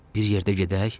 Bir yerdə gedək?